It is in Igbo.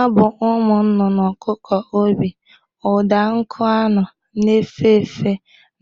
Abụ ụmụ nụnụnụ, ọkụkụ obi, ụda nkụ anụ na-efe efe